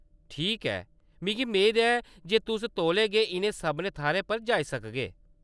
ठीक ऐ, मिगी मेद ऐ जे तुस तौले गै इʼनें सभनें थाह्‌रें पर जाई सकगे।